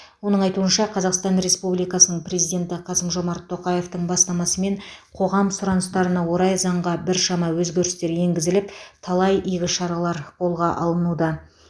оның айтуынша қазақстан республикасының президенті қасым жомарт тоқаевтың бастамасымен қоғам сұраныстарына орай заңға біршама өзгерістер енгізіліп талай игі шаралар қолға алынуда